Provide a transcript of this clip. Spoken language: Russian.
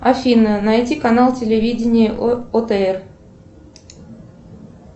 афина найди канал телевидение отр